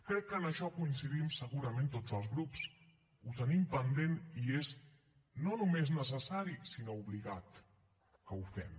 crec que en això coincidim segurament tots els grups ho tenim pendent i és no només necessari sinó obligat que ho fem